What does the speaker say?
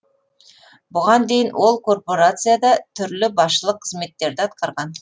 бұған дейін ол корпорацияда түрлі басшылық қызметтерді атқарған